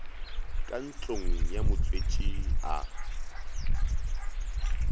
ka ntlong ya motswetši a